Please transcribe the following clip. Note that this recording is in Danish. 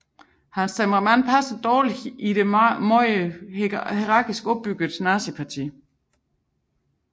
Hans temperament passede dårligt i det meget hierarkisk opbyggede nazistparti